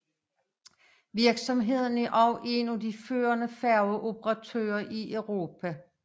Virksomheden er også en af de førende færgeoperatører i Europa